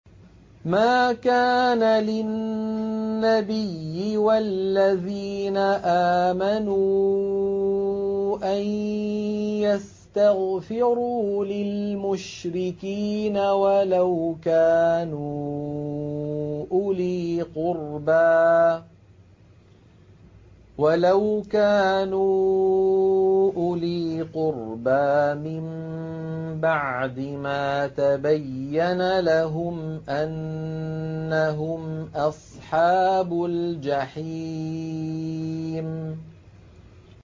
مَا كَانَ لِلنَّبِيِّ وَالَّذِينَ آمَنُوا أَن يَسْتَغْفِرُوا لِلْمُشْرِكِينَ وَلَوْ كَانُوا أُولِي قُرْبَىٰ مِن بَعْدِ مَا تَبَيَّنَ لَهُمْ أَنَّهُمْ أَصْحَابُ الْجَحِيمِ